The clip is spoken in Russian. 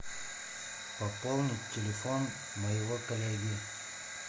пополнить телефон моего коллеги